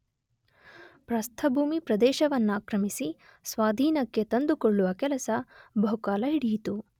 ಪ್ರಸ್ಥಭೂಮಿ ಪ್ರದೇಶವನ್ನಾಕ್ರಮಿಸಿ ಸ್ವಾಧೀನಕ್ಕೆ ತಂದುಕೊಳ್ಳುವ ಕೆಲಸ ಬಹುಕಾಲ ಹಿಡಿಯಿತು.